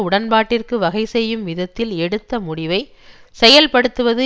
உடன்பாட்டிற்கு வகைசெய்யும் விதத்தில் எடுத்த முடிவை செயல்படுத்துவது